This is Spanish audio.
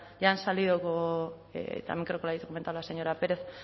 ya han salido también creo que lo ha comentado la señora pérez